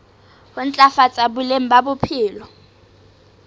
ho ntlafatsa boleng ba bophelo